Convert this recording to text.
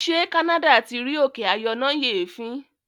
ṣe canada tí rí òkè ayọnáyèéfín?